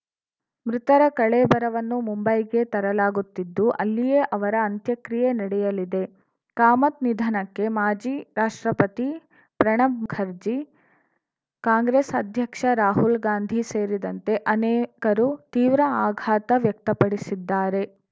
ಮೃತರ ಕಳೇಬರವನ್ನು ಮುಂಬೈಗೆ ತರಲಾಗುತ್ತಿದ್ದು ಅಲ್ಲಿಯೇ ಅವರ ಅಂತ್ಯಕ್ರಿಯೆ ನಡೆಯಲಿದೆ ಕಾಮತ್‌ ನಿಧನಕ್ಕೆ ಮಾಜಿ ರಾಷ್ಟ್ರಪತಿ ಪ್ರಣಬ್‌ ಮುಖರ್ಜಿ ಕಾಂಗ್ರೆಸ್‌ ಅಧ್ಯಕ್ಷ ರಾಹುಲ್‌ ಗಾಂಧಿ ಸೇರಿದಂತೆ ಅನೇಕರು ತೀವ್ರ ಆಘಾತ ವ್ಯಕ್ತಪಡಿಸಿದ್ದಾರೆ